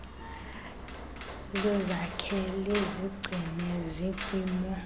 lizakhe lizigcine zikwimo